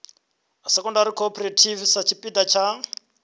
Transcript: secondary cooperative sa tshipiḓa tsha